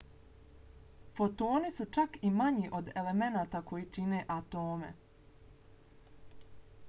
fotoni su čak i manji od elemenata koji čine atome!